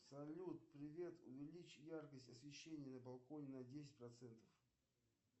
салют привет увеличь яркость освещения на балконе на десять процентов